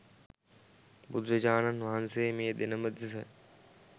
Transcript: බුදුරජාණන් වහන්සේ මේ දෙනම දෙස